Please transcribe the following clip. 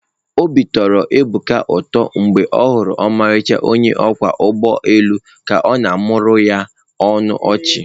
Obi tọrọ Ebuka ụtọ mgbe ọ hụrụ ọmarịcha onye ọkwọ ụgbọ elu ka ọ na-amụmụọrọ ya ọnụ ọchị.